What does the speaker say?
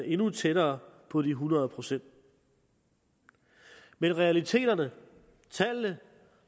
endnu tættere på de hundrede procent men realiteterne tallene